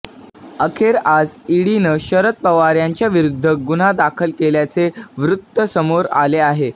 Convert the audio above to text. अखेर आज ईडीनं शरद पवार यांच्याविरूध्द गुन्हा दाखल केल्याचे वृत्त समोर आले आहे